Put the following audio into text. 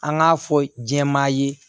An k'a fɔ jɛman ye